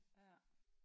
Ja